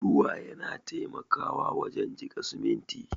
Ruwa yana taimakawa wajen jika siminti.